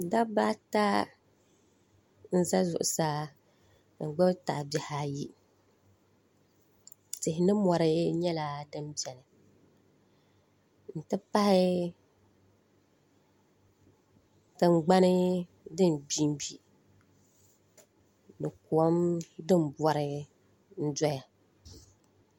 Dabba ata n za zuɣusaa n gbibi tahabihi ayi tihi ni mori nyɛla din beni n tipahi tingbani din gbingbi ni kom din bori n doya.